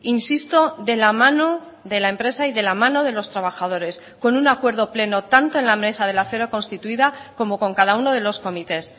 insisto de la mano de la empresa y de la mano de los trabajadores con un acuerdo pleno tanto en la mesa del acero constituida como con cada uno de los comités